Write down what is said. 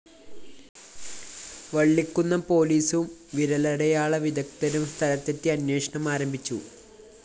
വളളികുന്നം പോലീസും വിരലടയാള വിദഗ്ദ്ധരും സ്ഥലത്തെത്തി അന്വേഷണം ആരംഭിച്ചു